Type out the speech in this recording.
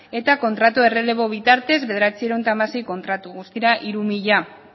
eta kontratu errelebo bitartez bederatziehun eta hamasei kontratu guztira hiru